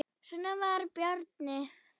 Svona var Bjarni.